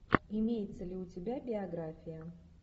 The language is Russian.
имеется ли у тебя биография